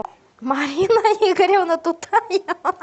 марина игоревна тутаева